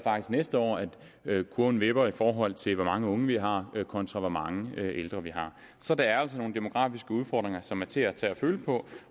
næste år at kurven vipper i forhold til hvor mange unge vi har kontra hvor mange ældre vi har så der er altså nogle demografiske udfordringer som er til at tage og føle på